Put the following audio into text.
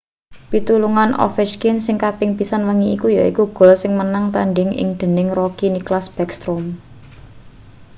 pitulungan ovechkin sing kaping pisan wengi iki yaiku gol sing menangke-tandhing iki dening rookie nicklas backstrom